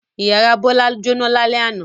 Ìyàrá Bọ́lá jóná lálẹ́ àná.